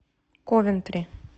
ковентри